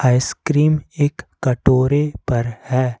Ice cream एक कटोरे पर है।